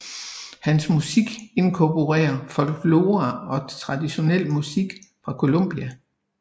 Hans musik inkorporerer folklore og traditionel musik fra Columbia